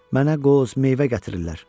Mənə qoz, meyvə gətirirlər.